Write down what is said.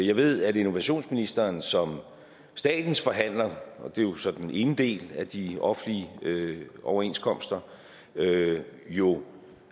jeg ved at innovationsministeren som statens forhandler og det er jo så den ene del af de offentlige overenskomster jo